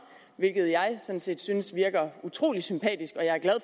hvilket jeg sådan set synes er utrolig sympatisk